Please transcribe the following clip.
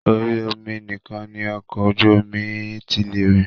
Orí omi nìkan ni ọkọ̀ ojú omi tí lè rìn.